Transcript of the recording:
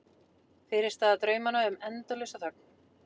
Fyrirstaða draumanna um endalausa þögn.